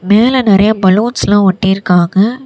மேல நெரிய பலூன்ஸ்ல ஒட்டி இருகாங்க.